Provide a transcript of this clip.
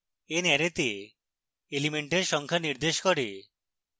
n অ্যারেতে elements সংখ্যা নির্দেশ করে